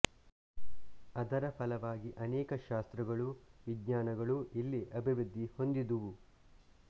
ಅದರ ಫಲವಾಗಿ ಅನೇಕ ಶಾಸ್ತ್ರಗಳೂ ವಿಜ್ಞಾನಗಳೂ ಇಲ್ಲಿ ಅಭಿವೃದ್ಧಿ ಹೊಂದಿದುವು